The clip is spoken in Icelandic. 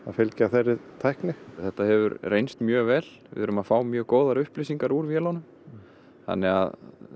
fylgja þeirri tækni þetta hefur reynst mjög vel við erum að fá mjög góðar upplýsingar úr vélunum þannig að